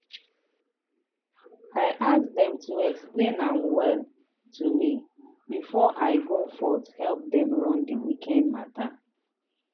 i ask dem to explain am well to me before i go fot help dem run di weekend matter.